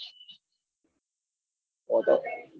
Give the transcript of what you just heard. એતો